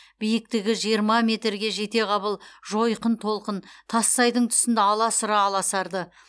биіктігі жиырма метрге жетеғабыл жойқын толқын тассайдың тұсында аласұра аласарды